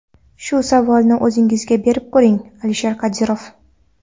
Shu savolni o‘zingizga berib ko‘ring, Alisher Qodirov.